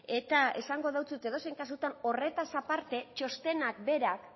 edozein kasutan horretaz aparte txostenak berak